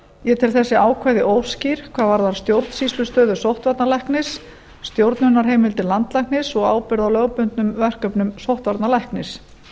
ég tel þessi ákvæði óskýr hvað varðar stjórnsýslustöðu sóttvarnalæknis stjórnunarheimildir landlæknis og ábyrgð á lögbundnum verkefnum sóttvarnalæknis